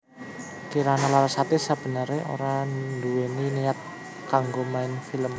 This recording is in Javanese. Kirana Larasati sabeneré ora nduwèni niat kanggo main film